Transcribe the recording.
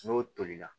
N'o tolila